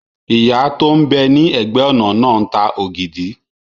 Ìyá tó n bẹ ní ẹ̀gbẹ́-ọ̀nà náà ń ta ògidì